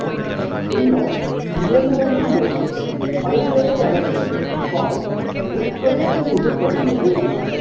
பின்னர் இயந்திரங்கள் மூலம் பல்வேறு அளவுகளில் பாய் உற்பத்தி செய்யப்படுகிறது